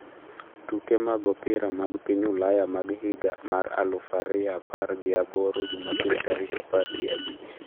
Tuke mag opira mag piny Ulaya mag higa mar alufariyoapar gi aboro Jumapil tarik apar gi abich.